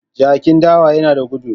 Jakin dawa yana da gudu.